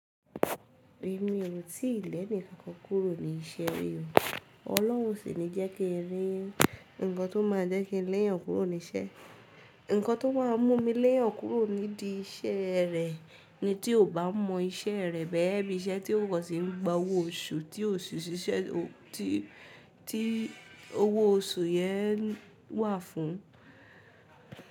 Èmi ò ti lẹ̀ nìkan kan kúrò ní iṣẹ́ rí. Ọlọ́hun sì ńi jẹ́ kí n rí ǹkan tó máa jẹ́ kí n léyàn kúrò níṣẹ́. Ǹkan tó má a mú mi léyàn kúrò nídi iṣẹ́ rẹ̀ ni tí ò bá mọ iṣẹ́ rẹ̀ bẹ́ẹ̀ bí iṣẹ́ tí ó kò sì ń gba owó oṣù tí owó oṣù yẹ́n wà fún.